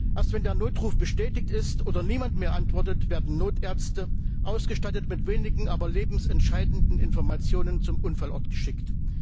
Erst wenn der Notruf bestätigt ist oder niemand mehr antwortet, werden Notärzte, ausgestattet mit wenigen, aber lebensentscheidenden Informationen, zum Unfallort geschickt.